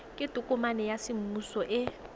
ke tokomane ya semmuso e